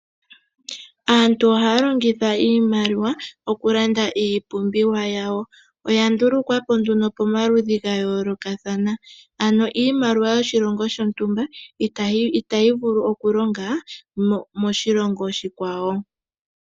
Aantu ohaya longitha iimaliwa oku landa iipumbiwa yawo. Oya ndulukwapo nduno pomaludhi ga yolokathana ano iimaliwa yoshilongo shontumba itayi vulu oku longa moshilongo oshikwawo.